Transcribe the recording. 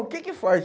O que que faz?